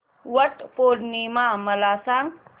वट पौर्णिमा मला सांग